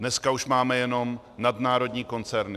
Dneska už máme jenom nadnárodní koncerny.